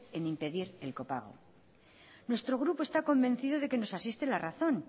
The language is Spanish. en impedir el copago nuestro grupo está convencido de que nos asiste la razón